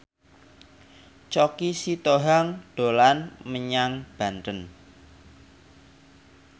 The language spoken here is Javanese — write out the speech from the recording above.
Choky Sitohang dolan menyang Banten